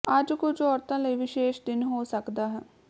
ਅੱਜ ਕੁਝ ਔਰਤਾਂ ਲਈ ਵਿਸ਼ੇਸ਼ ਦਿਨ ਹੋ ਸਕਦਾ ਹੈ